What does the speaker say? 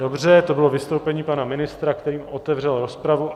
Dobře, to bylo vystoupení pana ministra, kterým otevřel rozpravu.